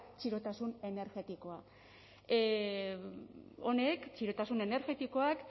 txirotasun energetikoa honek txirotasun energetikoak